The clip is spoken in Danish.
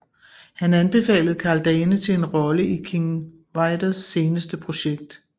Han anbefalede Karl Dane til en rolle i King Vidors seneste projekt